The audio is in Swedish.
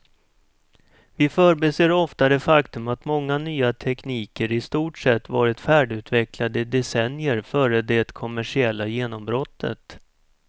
Vi förbiser ofta det faktum att många nya tekniker i stort sett varit färdigutvecklade i decennier före det kommersiella genombrottet.